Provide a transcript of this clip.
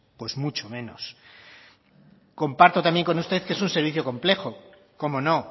pues mucho menos comparto también con usted que es un servicio complejo cómo no